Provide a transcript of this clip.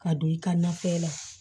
Ka don i ka nafɛn la